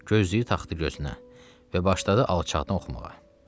Gözlüyü taxdı gözünə və başladı alçaqdan oxumağa.